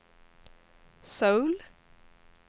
Söul